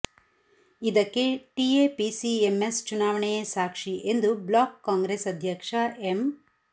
ಇದಕ್ಕೆ ಟಿಎಪಿಸಿಎಂಎಸ್ ಚುನಾವಣೆಯೇ ಸಾಕ್ಷಿ ಎಂದು ಬ್ಲಾಕ್ ಕಾಂಗ್ರೆಸ್ ಅಧ್ಯಕ್ಷ ಎಂ